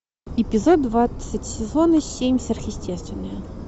эпизод двадцать сезона семь сверхъестественное